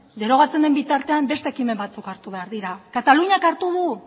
derogatzen den bitartean beste ekimena batzuk hartu behar dira kataluniak hartu dut